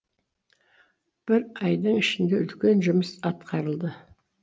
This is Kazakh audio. бір айдың ішінде үлкен жұмыс атқарылды